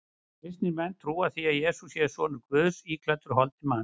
Kristnir menn trúa því að Jesús sé sonur Guðs íklæddur holdi manns.